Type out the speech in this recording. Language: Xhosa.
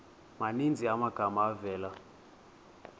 maninzi amagama avela